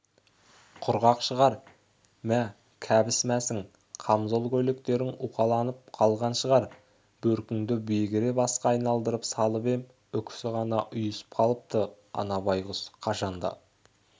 құрғақ шығар мә кебіс-мәсің камзол-көйлектерің уқаланып қалған шығар бөркіңді бегіре басқа айналдырып салып ем үкісі ғана ұйысып қалыпты ана байғұс қашан да